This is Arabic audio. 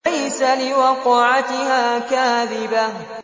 لَيْسَ لِوَقْعَتِهَا كَاذِبَةٌ